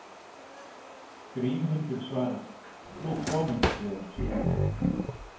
Grímhildur svarar: Nú komumst við ekki inn.